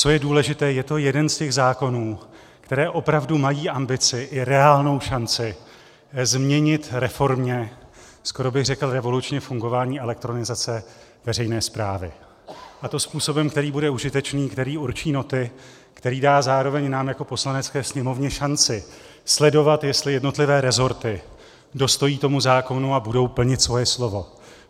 Co je důležité, je to jeden z těch zákonů, které opravdu mají ambici i reálnou šanci změnit reformně, skoro bych řekl revolučně, fungování elektronizace veřejné správy, a to způsobem, který bude užitečný, který určí noty, který dá zároveň nám jako Poslanecké sněmovně šanci sledovat, jestli jednotlivé resorty dostojí tomu zákonu a budou plnit svoje slovo.